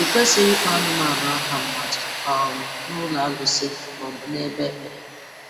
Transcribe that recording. I kwesịghị ịkpọ anụmanụ aha mmadụ um n'ụlọ arụsị ma ọ bụ n'ebe ekpere.